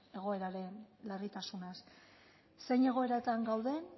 egoeraren larritasunaz zein egoeratan gauden